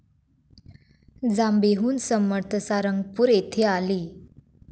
जांबेहून समर्थ सारंगपूर येथे आले.